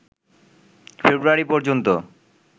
ফেব্রুয়ারি পর্যন্ত